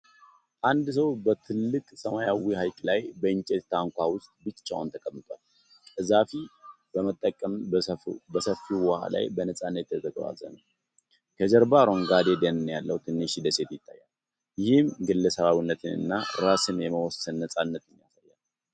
አንድ ሰው በትልቅ ሰማያዊ ሀይቅ ላይ በእንጨት ታንኳ ውስጥ ብቻውን ተቀምጧል። ቀዘፋ በመጠቀም በሰፊው ውሃ ላይ በነፃነት እየተጓዘ ነው። ከጀርባው አረንጓዴ ደን ያለው ትንሽ ደሴት ይታያል፣ ይህም ግለሰባዊነትን እና ራስን የመወሰን ነፃነትን ያጎላል።